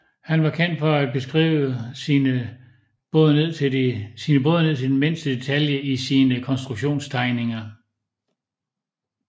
Han var kendt for at beskrive sine både ned til den mindste detalje i sine konstruktionstegninger